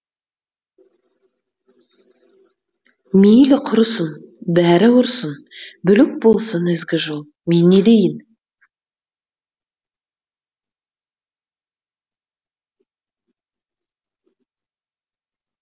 мейлі құрысын бәрі ұрсын бүлік болсын ізгі жол мен не дейін